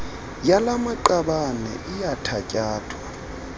yala maqabane iyathatyathwa